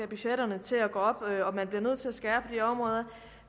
budgetterne til at gå op og man bliver nødt til at skære de områder